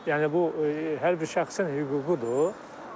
Yəni bu hər bir şəxsin hüququdur.